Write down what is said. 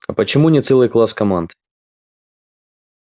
а почему не целый класс команд